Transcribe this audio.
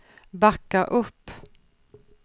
backa upp